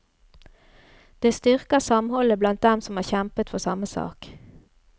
Det styrker samholdet blant dem som har kjempet for samme sak.